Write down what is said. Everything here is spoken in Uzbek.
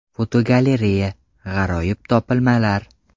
Fotogalereya: G‘aroyib topilmalar.